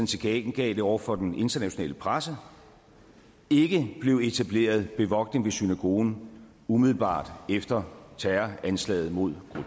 tilkendegav det over for den internationale presse ikke blev etableret bevogtning ved synagogen umiddelbart efter terroranslaget mod